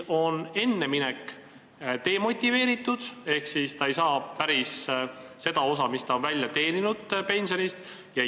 Varem minek on demotiveeritud, kuna inimene ei hakka siis saama päris nii suurt pensionit, nagu ta on välja teeninud.